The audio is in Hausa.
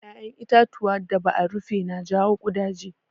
Ƴaƴan itatuwa da ba a rufe na jawo ƙudaje.